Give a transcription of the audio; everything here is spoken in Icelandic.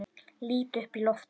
Lít upp í loftið.